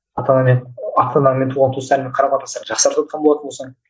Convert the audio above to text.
ата анамен ата анамен туған туыстармен қарым қатынастар жақсарып жатқан болатын болсаң